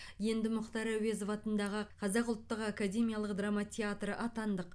енді мұхтар әуезов атындағы қазақ ұлттық академиялық драма театры атандық